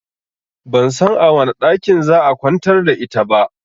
Ban san a wane ɗakin za'a kwantar da ita ba